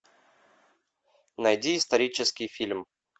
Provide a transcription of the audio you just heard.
найди исторический фильм